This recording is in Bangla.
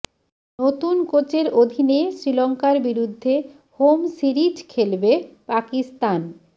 নতুন কোচের অধীনে শ্রীলঙ্কার বিরুদ্ধে হোম সিরিজ খেলবে পাকিস্তান